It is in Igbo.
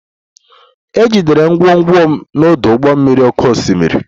E jidere ngwongwo m n'ọdụ ụgbọ mmiri oké osimiri